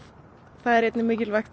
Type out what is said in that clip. það er mikilvægt